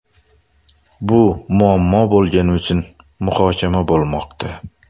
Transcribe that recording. Bu muammo bo‘lgani uchun muhokama bo‘lmoqda.